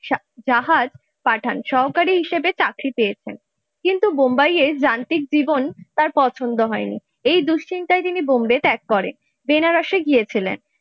জাহাজ পাঠান সহকারী হিসেবে চাকরি পেয়েছেন কিন্তু বোম্বাইয়ের যান্ত্রিক জীবন তার পছন্দ হয়নি এই দুশ্চিন্তায় তিনি বোম্বে ত্যাগ করেবেনারসে গিয়েছিলেন।